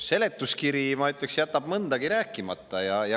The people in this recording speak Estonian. Seletuskiri, ma ütleks, jätab mõndagi rääkimata.